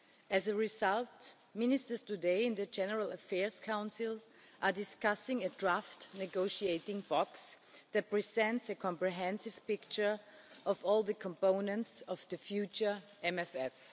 As a result, today in the General Affairs Council, ministers are discussing a draft negotiating box that presents a comprehensive picture of all the components of the future MFF.